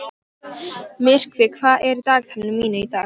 Myrkvi, hvað er í dagatalinu mínu í dag?